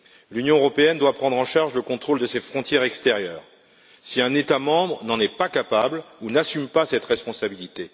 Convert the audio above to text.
L'Union européenne doit prendre en charge le contrôle de ses frontières extérieures, si un État membre n'en est pas capable ou n'assume pas cette responsabilité.